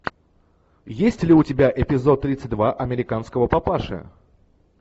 есть ли у тебя эпизод тридцать два американского папаши